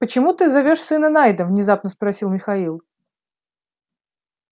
почему ты зовёшь сына найдом внезапно спросил михаил